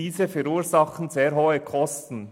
Diese verursachen sehr hohe Kosten.